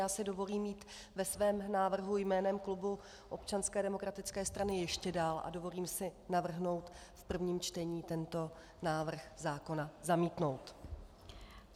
Já si dovolím jít ve svém návrhu jménem klubu Občanské demokratické strany ještě dál a dovolím si navrhnout v prvním čtení tento návrh zákona zamítnout.